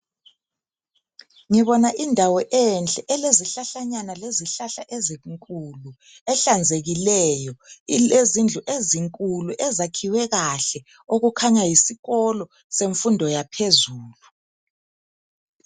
Ngibona indawo enhle elezihlahlanyana lezihlahla ezinkulu, ehlanzekileyo. Ilezindlu ezinkulu ezakhiwe kahle okukhanya yisikolo semfundo yaphezulu.